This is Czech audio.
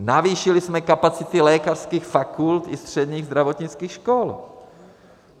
Navýšili jsme kapacity lékařských fakult i středních zdravotnických škol.